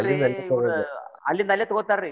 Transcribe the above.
ಅಲ್ಲಿಂದ್ ಅಲ್ಲೇ ತಗೋತಾರಿ.